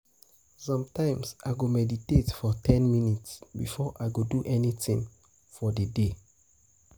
Sometimes, I go meditate for ten minutes before I go do anything for the day.